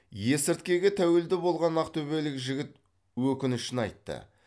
есірткіге тәуелді болған ақтөбелік жігіт өкінішін айтты